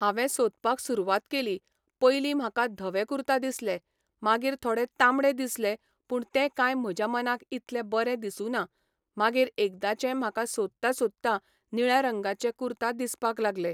हांवें सोदपाक सुरवात केली.पयलीं म्हाका धवे कुर्ता दिसले, मागीर थोडे तांबडे दिसले पूण ते कांय म्हज्या मनाक इतले बरें दिसूना मागीर एकदाचें म्हाका सोदता सोदता निळ्या रंगाचे कुर्ता दिसपाक लागले.